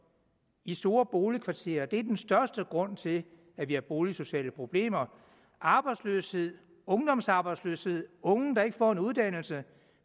i store boligkvarterer er den største grund til at vi har boligsociale problemer arbejdsløshed ungdomsarbejdsløshed unge der ikke får en uddannelse